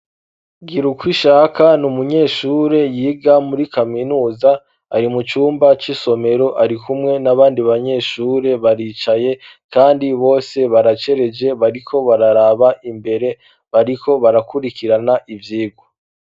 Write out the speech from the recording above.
Gira uko ishaka n' umunyeshure yiga muri kaminuza ari mu cumba c'isomero ari kumwe n'abandi banyeshure baricaye, kandi bose baracereje bariko bararaba imbere bariko barakurikirana ivyigwa.